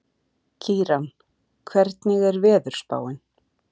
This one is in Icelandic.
Kíran, hvernig er veðurspáin?